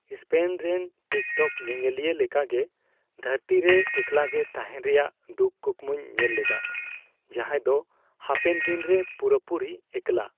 Spain ᱨᱮᱱ TikTok ᱧᱮᱧᱮᱞᱤᱭᱟᱹ ᱞᱮᱠᱟ ᱜᱮ ᱫᱷᱟᱹᱨᱛᱤ ᱨᱮ ᱮᱠᱞᱟᱜᱮ ᱛᱟᱦᱮᱱ ᱨᱮᱭᱟᱜ ᱫᱩᱠ ᱠᱩᱠᱢᱩᱧ ᱧᱮᱞ ᱞᱮᱫᱟ, ᱡᱟᱦᱟᱸᱭ ᱫᱚ ᱦᱟᱯᱮᱱᱫᱤᱱ ᱨᱮ ᱯᱩᱨᱟᱹᱯᱩᱨᱤ ᱮᱠᱞᱟ ᱾